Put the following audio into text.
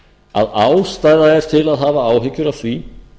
að ástæða er til að hafa áhyggjur af því